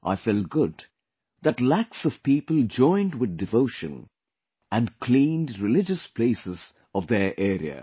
I felt good that lakhs of people joined with devotion and cleaned religious places of their area